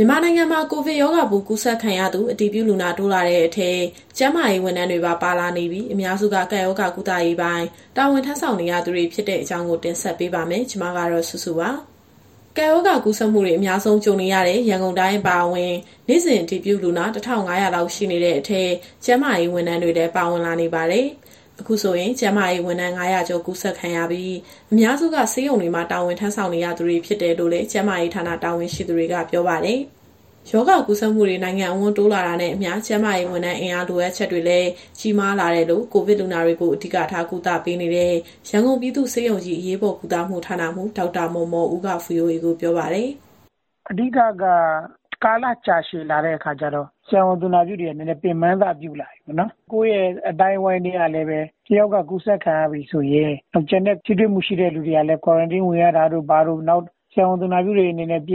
မြန်မာနိုင်ငံမှာ ကိုဗစ်ရောဂါပိုးကူးစက်ခံရသူ အတည်ပြုလူနာတိုးလာတဲ့အထဲ ကျန်းမာရေးဝန်ထမ်းတွေပါ ပါလာနေပြီး၊ အများစုက ကပ်ရောဂါကုသရေးပိုင်း တာဝန်ထမ်းဆောင်နေသူတွေဖြစ်တဲ့အကြောင်းကို ဗွီအိုအေမြန်မာပိုင်း သတင်းထောက် မစုစုက တင်ဆက်ပေးပါမယ်။ ကပ်ရောဂါ ကူးစက်မှုတွေ အများဆုံး ကြုံနေရတဲ့ ရန်ကုန်တိုင်း အပါအဝင် နေ့စဉ် အတည်ပြုလူနာ ၁,၅၀၀ လောက် ရှိနေတဲ့အထဲ ကျန်းမာရေး ဝန်ထမ်းတွေလည်း ပါဝင်လာနေပါတယ်။ အခုဆိုရင် ကျန်းမာရေးဝန်ထမ်း ၅၀၀ ကျော်ကူးစက်ခံရပြီး၊ အများစုက ဆေးရုံတွေမှာ တာဝန်ယူဆောင်ရွက်နေသူတွေဖြစ်တယ်လို့လည်း ကျန်းမာရေးဌာန တာဝန်ရှိသူတွေက ပြောပါတယ်။ ရောဂါကူးစက်မှုတွေ နိုင်ငံအဝန်း တိုးလာနေတာနဲ့အမျှ ကျန်းမာရေးဝန်ထမ်း အင်အား လိုအပ်ချက်တွေလည်း ကြီးမားလာတယ်လို့ ကိုဗစ်လူနာတွေကို အဓိကထား ကုသပေးနေတဲ့ ရန်ကုန်ပြည်သူ့ဆေးရုံကြီး အရေးပေါ်ကုသမှုဌာနမှူး ဒေါက်တာမော်မော်ဦးက VOA ကိုပြောပါတယ်။ "အဓိကက ကာလကြာရှည်လာတဲ့အခါကျတော့ ဆရာဝန်၊ သူနာပြုတွေက နည်းနည်းပင်ပန်းစပြုလာပြီ။ ကိုယ့်ရဲ့အသိုင်းအဝန်းထဲက တယောက်က ကူးစက်ခံရပြီဆိုရင် ကျန်တဲ့ထိတွေ့မှု ရှိသူတွေကလည်း Quarantine ဝင်ရတာတို့ ဘာတို့၊ နောက် ကူးစက်ခံခဲ့ရတဲ့သူတွေ ကျ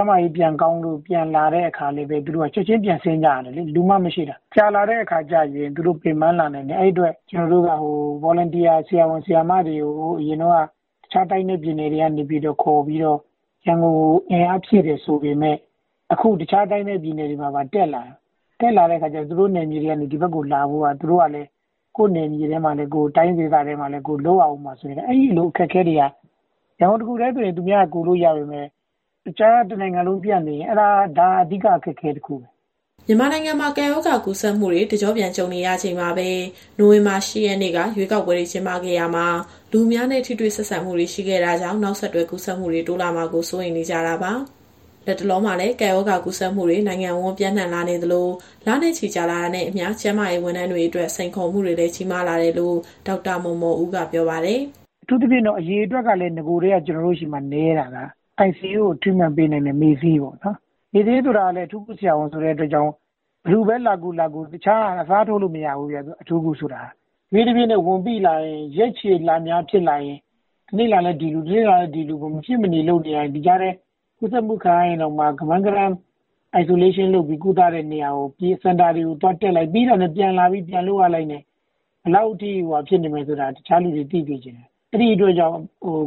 န်းမာရေးပြန်ကောင်းလာပြီဆိုရင် ချက်ချင်းပြန်ဆင်းကြရတယ်လေ... လူမှမရှိတာ။ ကြာလာတဲ့အခါကျရင် သူတို့ ပင်ပန်းလာနိုင်တယ်။ အဲဒီအတွက် ကျနော်တို့က Volunteer ဆရာဝန်၊ ဆရာမတွေကို အရင်တုန်းက တခြားတိုင်းနဲ့ ပြည်နယ်တွေကနေ ခေါ်ပြီးတော့ ရန်ကုန်ကို အင်အားဖြည့်တယ်ဆိုပေမဲ့ အခုတခြားတိုင်းနဲ့ ပြည်နယ်တွေမှာပါ တက်လာတဲ့အခါကျတော့ သူတို့နယ်မြေတွေကနေ ဒီဘက်ကိုလာဖို့ကလည်း ကိုယ့်တိုင်းဒေသတွေမှာလည်း လုပ်ရဦးမှာဆိုတော့ အဲဒီလိုအခက်အခဲတွေက ရန်ကုန်တခုတည်းဆို သူများကကူလို့ ရနေပေမဲ့ တနိုင်ငံလုံးပြန့်နေရင် အဲဒါက အဓိကအခက်အခဲ တခုပဲ။" မြန်မာနိုင်ငံမှာ ကပ်ရောဂါကူးစက်မှုတွေ တကျော့ပြန်ကြုံနေရချိန်မှာပဲ နိုဝင်ဘာလ ၈ ရက်နေ့က ရွေးကောက်ပွဲတွေ ကျင်းပခဲ့ရာမှာ လူအများနဲ့ ထိတွေ့ဆက်ဆံမှုတွေ ရှိခဲ့တာကြောင့် နောက်ဆက်တွဲ ကူးစက်မှုတွေ တိုးလာမှာကိုလည်း စိုးရိမ်နေကြတာပါ။ လတ်တလောမှာလည်း ကပ်ရောဂါကူးစက်မှုတွေ နိုင်ငံအဝန်း ပျံ့နှံ့လာနေသလို လနဲ့ချီကြာလာတာနဲ့အမျှ ကျန်းမာရေး ဝန်ထမ်းတွေအတွက် စိန်ခေါ်မှုတွေလည်း ကြီးမားလာတယ်လို့ ဒေါက်တာမော်မော်ဦးက ပြောပါတယ်။ "အထူးသဖြင့်က ကျနော်တို့ဆီမှာ နဂိုကတည်းက ICU ထဲမှာ Treatment ပေးနိုင်တဲ့ မေ့ဆေးပေါ့။ မေ့ဆေးဆိုတာလည်း အထူးကုဆရာဝန်ဆိုတဲ့အတွက်ကြောင့် ဘယ်သူပဲလာကူ၊ လာကူ တခြားက အစားထိုးလို့မရဘူးဗျ၊ အထူးကုဆိုတာ။ တဖြည်းဖြည်းနဲ့ ဝန်ပိလာရင် ရက်ရှည်လများဖြစ်လာရင် တနေ့လာလည်း ဒီလူ၊ တနေ့လာလည်း ဒီလူ မဖြစ်မနေလုပ်နေရတယ်။ ဒီကြားထဲ ကူးစက်မှု ခံရရင်တောင်မှ ကမန်းကတန်း Isolation လုပ် ကုသလို့ရတဲ့နေရာတွေပြေး၊ စင်တာတွေတက်လိုက်၊ ပြီးတာနဲ့ ပြန်လာပြီးပြန်လုပ်ရတဲ့အတွက် ဘယ်လောက်ထိခက်ခဲနေမယ်ဆိုတာ တခြားသူတွေ သိစေချင်တယ်။ အဲဒီအတွက်ကြောင့်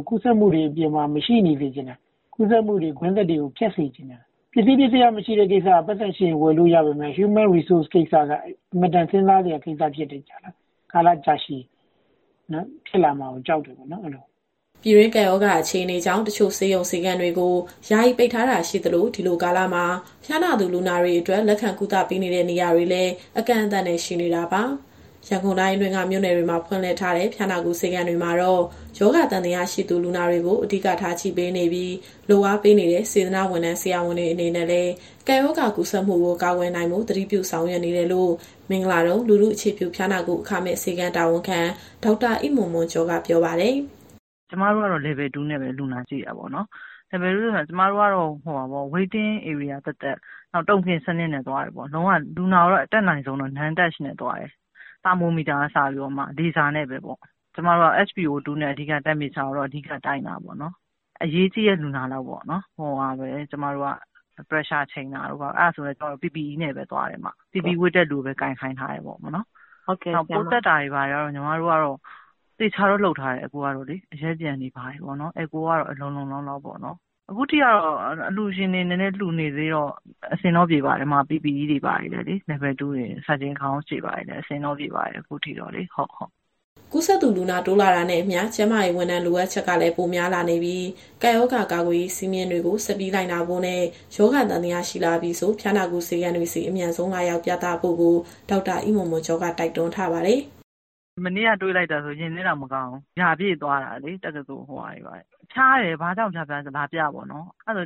ကူးစက်မှုတွေ အပြင်မှာ မရှိနေစေချင်တာ။ ကူးစက်မှုကွင်းဆက်တွေကို ဖြတ်စေချင်တာ။ ပစ္စည်းပစ္စယမရှိတဲ့ကိစ္စက ပိုက်ဆံရှိရင် ဝယ်လို့ရပေမဲ့ Human Resource ကိစ္စက အင်မတန် စဉ်းစားစရာကိစ္စဖြစ်တယ်။ ကာလကြာရှည်ဖြစ်လာမှာကို ကြောက်တယ်ပေါ့။" ပြည်တွင်းကပ်ရောဂါအခြေအနေကြောင့် တချို့ဆေးရုံ၊ ဆေးခန်းတွေကို ယာယီပိတ်ထားတာရှိသလို၊ ဒီလိုကာလမှာ ဖျားနာသူလူနာတွေအတွက် လက်ခံကုသပေးတဲ့နေရာတွေလည်း အကန့်အသတ်နဲ့ ရှိနေတာပါ။ ရန်ကုန်တိုင်းအတွင်းက မြို့နယ်တွေမှာ ဖွင့်လှစ်ထားတဲ့ ဖျားနာကုဆေးခန်းတွေမှာတော့ ရောဂါသံသယရှိသူ လူနာတွေကို အဓိကထားကြည့်ပေးနေပြီး၊ လုပ်အားပေးနေတဲ့ စေတနာ့ဝန်ထမ်း၊ ဆရာဝန်တွေအနေနဲ့လည်း ကပ်ရောဂါကူးစက်မှုကို ကာကွယ်နိုင်ဖို့ သတိပြုဆောင်ရွက်နေတယ်လို့ မင်္ဂလာဒုံ၊ လူထုအခြေပြုဖျားနာကု အခမဲ့ဆေးခန်းတာဝန်ခံ ဒေါက်တာအိမွန်မွန်ကျော်က ပြောပါတယ်။ "ကျမတို့ကတော့ Level 2 နဲ့ပဲ လူနာကြည့်တာပေါ့နော်။ Level 2 နဲ့ဆိုတာက ကျမတို့ကတော့ Waiting Area သတ်သတ်၊ နောက် Token စနစ်နဲ့သွားတယ်ပေါ့။ လုံးဝ လူနာကိုအတတ်နိုင်ဆုံးကတော့ Non Touch နဲ့သွားတယ်။ သာမိုမီတာကအစ လေဆာနဲ့ပဲပေါ့။ ကျမတို့က SPO 2 နဲ့ Temperature ကိုတော့ အဓိကတိုင်းတာပေါ့နော်။ အရေးကြီးတဲ့လူနာလောက်ကိုပဲ Temperature ချိန်တာတို့ ဘာတို့ အဲဒါဆိုရင်လည်း ကျမတို့က PPE ဝတ်တဲ့သူကိုပဲ ကိုင်ခိုင်းထားတယ်ပေါ့နော်။ နောက် ပိုးသတ်တာတွေဘာတွေကတော့ သေချာတော့လုပ်ထားတယ်။ အရက်ပျံတွေကတော့ လုံလုံလောက်လောက်ပေါ့နော်။ အခုထိကတော့ အလှူရှင်တွေ နည်းနည်းလှူနေသေးတော့ အဆင်တော့ပြေပါတယ်။ PPE Level 2 တွေ၊ Surgeon Gown တွေဘာတွေနဲ့ အဆင်တော့ပြေပါတယ်၊ အခုထိတော့လေ။" ကူးစက်သူ လူနာတိုးလာတာနဲ့အမျှ ကျန်းမာရေးဝန်ထမ်း လိုအပ်ချက်ကလည်း ပိုများလာနေပြီး၊ ကပ်ရောဂါကာကွယ်ရေး စည်းမျဉ်းတွေကို ဆက်ပြီး လိုက်နာဖို့နဲ့ ရောဂါသံသယရှိလာပြီဆို ဖျားနာကုဆေးခန်းတွေဆီ အမြန်ဆုံးလာရောက်ပြသဖို့ကို ဒေါက်တာအိမွန်မွန်ကျော်က တိုက်တွန်းထားပါတယ်။ "မနေ့က တွေ့လိုက်တာဆို ရင်ထဲတောင်မကောင်းဘူး။ တက္ကသိုလ်ရာပြည့်သွားတာတွေလေ။ ဖျားတယ်ဆို ဘာကြောင့်ဖျားဖျား လာပြပေါ့နော်၊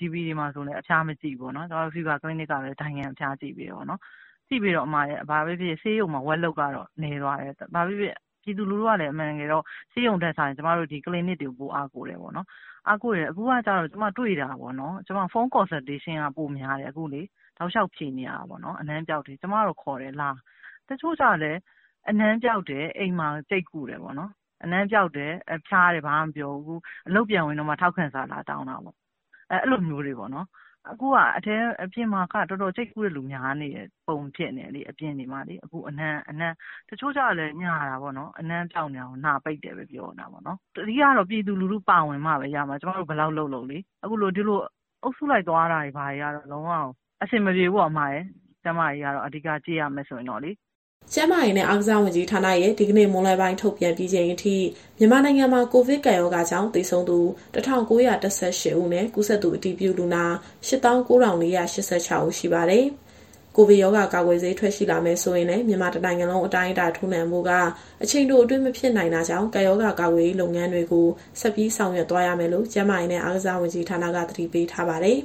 GP တွေဘာတွေလည်း အဖျားမကြည့်ဘူးလေ။ ကျမတို့ Fever Clinic ကပဲ ဒိုင်ခံအဖျားကြည့်ပေးနေတာပေါ့။ ကြည့်ပေးတော့ ဘာပဲဖြစ်ဖြစ် ဆေးရုံတွေမှာ Workload ကတော့ နည်းသွားတယ်။ ပြည်သူလူထုကလည်း အမှန်တကယ်တော့ ဆေးရုံတွေ ထက်စာရင် ဒီ Clinic တွေကို ပိုအားကိုးတယ်ပေါ့နော်။ အားကိုးတယ်ဆိုတာ ကျမအခုတွေ့နေရတာပေါ့နော်။ Phone Consultation က ပိုများတယ်၊ အနံ့ပျောက်တွေ တောက်လျှောက်ဖြေနေရတာပေါ့နော်။ ကျမကတော့ လာဖို့ခေါ်တယ်။ တချို့ကျတော့လည်း အနံ့ပျောက်တယ်။ အိမ်မှာ ကျိတ်ကုတယ်ပေါ့နော်။ အနံ့ပျောက် ဖျားနာတယ်... ဘာမှမပြောဘူး။ အလုပ်ပြန်ဝင်တော့မှ ထောက်ခံစာ လာတောင်းတာပေါ့။ အခုဟာက အပြင်မှာက ကျိတ်ကုတဲ့သူတော်တော်များနေတဲ့ပုံ ဖြစ်နေတယ်။ တချို့ကျတော့လည်း အနံ့ပျောက်တာကို နှာပိတ်တယ်ဆိုပြီး ညာတယ်။ အဓိကတော့ ပြည်သူလူထုပါဝင်မှပဲ ရမယ်။ ကျမတို့ဘယ်လောက်လုပ်လုပ်လေ။ ဒီလို အုပ်စုလိုက် သွားလာနေတာတွေက လုံးဝကို အဆင်မပြေဘူး။ ကျန်းမာရေးအရ အဓိကကြည့်မရမယ်ဆိုရင်။" ကျန်းမာရေးနဲ့ အားကစားဝန်ကြီးဌာနရဲ့ ဒီကနေ့မွန်းလွဲပိုင်း ထုတ်ပြန်ပြီးချိန်အထိ မြန်မာနိုင်ငံမှာ ကိုဗစ်ကပ်ရောဂါကြောင့် သေဆုံးသူ ၁,၉၁၈ ဦးနဲ့ ကူးစက်သူအတည်ပြုလူနာ ၈၉,၄၈၆ ဦးရှိပါတယ်။ ကိုဗစ်ရောဂါကာကွယ်ဆေး ထွက်ရှိလာမယ်ဆိုရင်လည်း မြန်မာတနိုင်ငံလုံးအတိုင်းအတာ ထိုးနှံဖို့က အချိန်တိုအတွင်းမဖြစ်နိုင်တာကြောင့် ကပ်ရောဂါကာကွယ်ရေးလုပ်ငန်းတွေကို ဆက်ပြီးဆောင်ရွက်သွားရမယ်လို့ ကျန်းမာရေးနဲ့အားကစားဝန်ကြီးက အသိပေးထားပါတယ်။